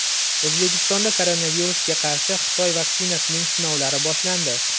O‘zbekistonda koronavirusga qarshi Xitoy vaksinasining sinovlari boshlandi.